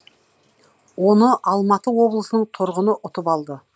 оны алматы облысының тұрғыны ұтып алды